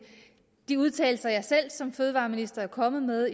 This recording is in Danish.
de udtalelser som jeg selv som fødevareminister er kommet med